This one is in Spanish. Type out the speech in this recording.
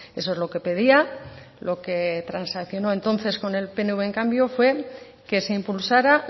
eso es lo que pedía lo que transaccionó entonces con el pnv en cambio fue que se impulsara